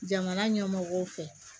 Jamana ɲɛmɔgɔw fɛ